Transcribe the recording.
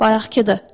Bayaqkıdır.